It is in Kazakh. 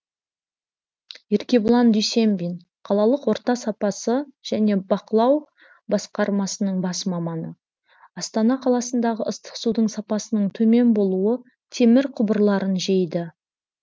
еркебұлан дүйсенбин қалалық орта сапасы және бақылау басқармасының бас маманы астана қаласындағы ыстық судың сапасының төмен болуы темір құбырларын жейді